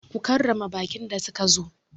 Ku karrama baƙin da suka zo!